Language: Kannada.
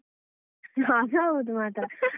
ಅದು ಹೌದು ಮಾತ್ರ.